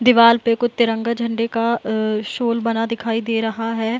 दीवाल पे कुछ तिरंगा झंडे का अ शोल बना दिखाई दे रहा है।